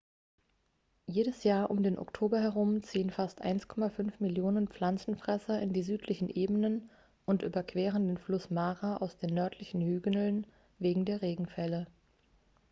jedes jahr um den oktober herum ziehen fast 1,5 millionen pflanzenfresser in die südlichen ebenen und überqueren den fluss mara aus den nördlichen hügeln wegen der regenfälle